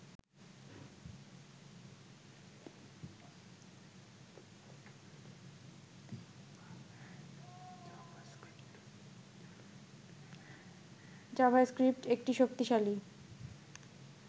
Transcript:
JavaScript একটি শক্তিশালী